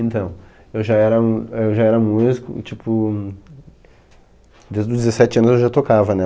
Então, eu já era m, eu já era músico, tipo, desde os dezessete anos eu já tocava, né?